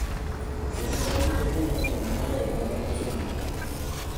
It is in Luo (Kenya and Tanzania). Kendo en gi teko mang�eny moloyo mana loso gi ji.